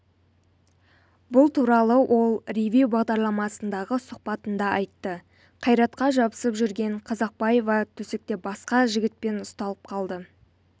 бұл туралы ол ревю бағдарламасындағы сұқбатында айтты қайратқа жабысып жүрген қазақбаева төсекте басқа жігітпен ұсталып қалды